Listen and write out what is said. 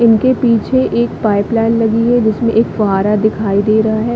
इनके पीछे एक पाइप लाइन लगी है जिसमें एक फुव्वारा दिखाई दे रहा है।